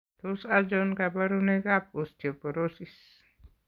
Tos achon kabarunaik ab Osteoporosis ?